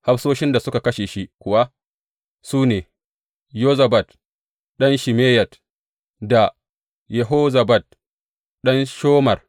Hafsoshin da suka kashe shi kuwa su ne Yozabad ɗan Shimeyat da Yehozabad ɗan Shomer.